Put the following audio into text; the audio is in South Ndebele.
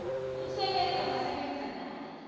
umsebenzi abasebenza naye